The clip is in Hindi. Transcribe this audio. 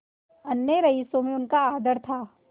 अन्य रईसों में उनका आदर था